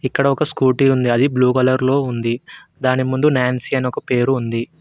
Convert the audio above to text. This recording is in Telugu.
ఇక్కడ ఒక స్కూటీ ఉంది బ్లూ కలర్ లో ఉంది దాని ముందు నాన్సీ అని ఒక పేరు ఉంది.